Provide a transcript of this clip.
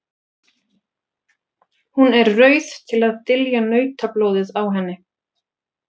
Hún er rauð til að dylja nautablóðið á henni.